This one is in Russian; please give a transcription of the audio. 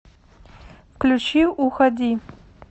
включи уходи